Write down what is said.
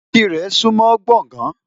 Ìkirè súńmọ́ Gbọ̀gán.